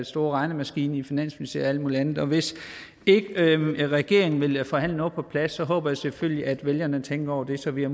store regnemaskine i finansministeriet muligt andet og hvis ikke regeringen vil forhandle noget på plads håber jeg selvfølgelig vælgerne tænker over det så vi